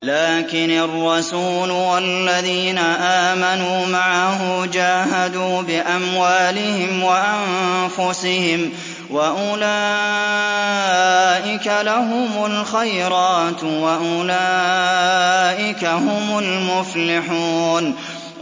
لَٰكِنِ الرَّسُولُ وَالَّذِينَ آمَنُوا مَعَهُ جَاهَدُوا بِأَمْوَالِهِمْ وَأَنفُسِهِمْ ۚ وَأُولَٰئِكَ لَهُمُ الْخَيْرَاتُ ۖ وَأُولَٰئِكَ هُمُ الْمُفْلِحُونَ